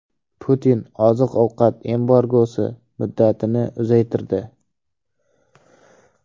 Putin oziq-ovqat embargosi muddatini uzaytirdi.